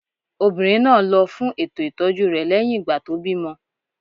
Obìnrin náà lọ fún ètò ìtọ́jú rẹ̀ lẹ́yìn ìgbà tó bímọ